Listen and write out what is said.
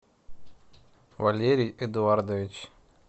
валерий эдуардович